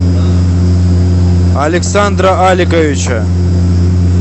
александра аликовича